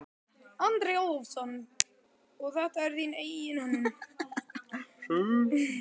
Andri Ólafsson: Og þetta er þín eigin hönnun?